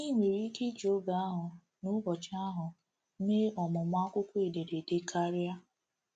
I nwere ike iji oge ahụ n’ubọchị ahụ eme ọmụmụ akwụkwọ ederede karịa..